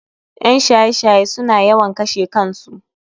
En shaye shaye suna yawan kashe kansu